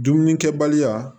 Dumuni kɛbaliya